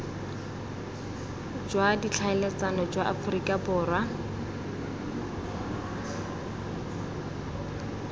jwa ditlhaeletsano jwa aforika borwa